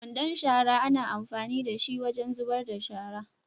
kwandon shara ana amfani dashi wajen zubar da shara.